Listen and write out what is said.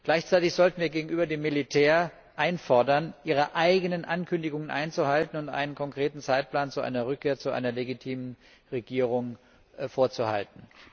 Gleichzeitig sollten wir gegenüber dem Militär einfordern, ihre eigenen Ankündigungen einzuhalten und einen konkreten Zeitplan einer Rückkehr zu einer legitimen Regierung zu befolgen.